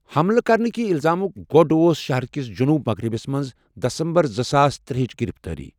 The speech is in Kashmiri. حملہٕ كرنكہِ الزامک گۄڈ اوس شہرٕ كِس جنوٗب مغرِبس منٛز دسمبر زٕ ساس ترٛےٚ ہٕچ گِرِفتٲری۔